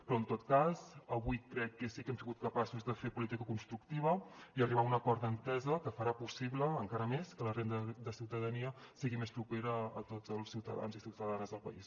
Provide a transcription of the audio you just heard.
però en tot cas avui crec que sí que hem sigut capaços de fer política constructiva i arribar a un acord d’entesa que farà possible encara més que la renda de ciutadania sigui més propera a tots els ciutadans i ciutadanes del país